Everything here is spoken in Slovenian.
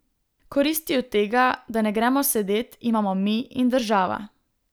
Koristi od tega, da ne gremo sedet, imamo mi in država.